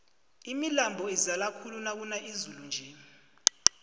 imilambo izala khulu nakuna izulu nje